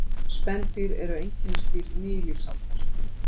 Spendýr eru einkennisdýr nýlífsaldar.